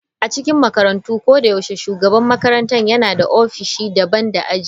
A cikin makarantu, ko da yaushe shugaban makarantar yana da ofishi daban da aji.